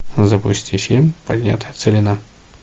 запусти фильм поднятая целина